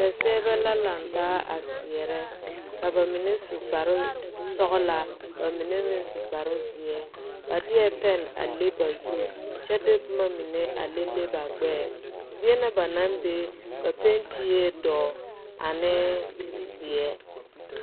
Seɛserebɛ la langtaa a seɛrɛ ka ba mene su kpare sɔgla ka ba mene meng su kpare zeɛ ba die pɛn a le ba zu kye di buma mene a lele ba gbeɛɛ zeɛ na ba nang bɛ ba penti duro ane zie.